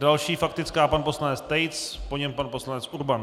Další faktická, pan poslanec Tejc, po něm pan poslanec Urban.